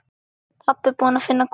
Pabbi búinn að finna Guð!